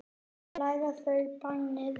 Þar læra þau bænir.